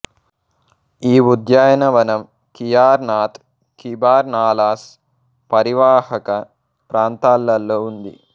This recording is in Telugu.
ఈ ఉద్యానవనం కియార్ నాథ్ కిబార్ నాలాస్ పరీవాహక ప్రాంతాలలో ఉంది